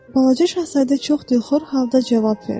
Balaca Şahzadə çox dilxor halda cavab verdi.